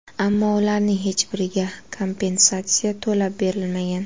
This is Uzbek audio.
Ammo ularning hech biriga kompensatsiya to‘lab berilmagan.